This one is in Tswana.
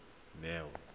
neo